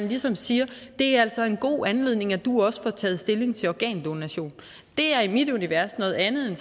ligesom siger det er altså en god anledning til at du også får taget stilling til organdonation det er i mit univers noget andet end